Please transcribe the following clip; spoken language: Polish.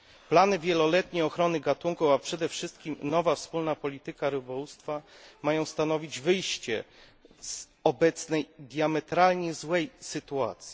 Plany wieloletnie ochrony gatunku, a przede wszystkim nowa wspólna polityka rybołówstwa mają stanowić wyjście z obecnej, diametralnie złej sytuacji.